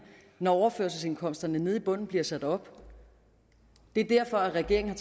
når overførselsindkomsterne nede i bunden bliver sat op det er derfor at regeringen